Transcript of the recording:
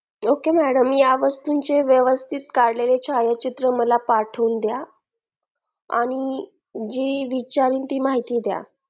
ok madam या वस्तू चे व्यवस्थित काढलेले छायाचित्र मला पाठवून द्या आणि जी विचारेल ती माहिती द्या